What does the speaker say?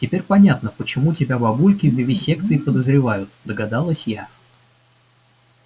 теперь понятно почему тебя бабульки в вивисекции подозревают догадалась я